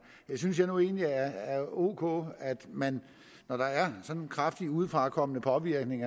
jeg synes nu egentlig det er ok at man når der er sådan en kraftig udefrakommende påvirkning